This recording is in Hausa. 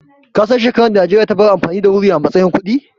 Kasan shekaran da Najeriya ta bar amfani da wuri a matsayin kuɗi?